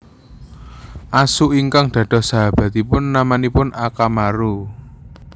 Asu ingkang dados sahabatipun namanipun Akamaru